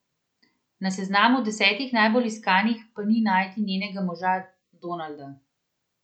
Na seznamu desetih najbolj iskanih pa ni najti njenega moža, Donalda.